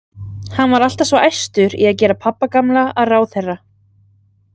Hann var alltaf svo æstur í að gera pabba gamla að ráðherra.